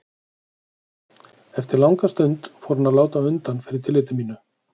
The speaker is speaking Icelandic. Eftir langa stund fór hann að láta undan fyrir tilliti mínu.